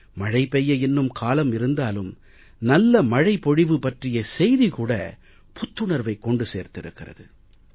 மழை பெய்ய இன்னும் காலம் இருந்தாலும் நல்ல மழை பொழிவு பற்றிய செய்தி கூட புத்துணர்வை கொண்டு சேர்த்திருக்கிறது